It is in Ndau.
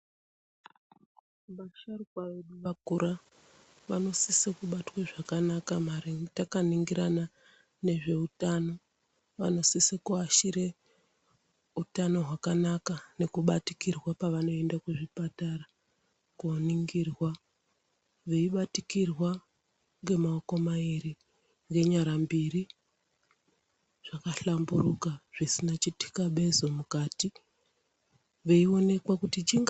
Vasharuka vedu vakura vanosisa kubatwa zvakanaka maringe takaringirana nezveutano. Vanosise kuashire utano hwakanaka nekubatikirwa pavanoenda kuzvipatara koningirwa. Veibatikirwa ngemaoko mairi nenyara mbiri zvakahlamburuka zvisina chitikabezo mukati veionekwa kuti chingaa.